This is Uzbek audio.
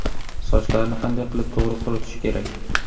Sochlarni qanday qilib to‘g‘ri quritish kerak?.